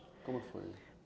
Como foi?